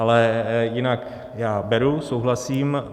Ale jinak já beru, souhlasím.